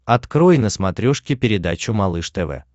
открой на смотрешке передачу малыш тв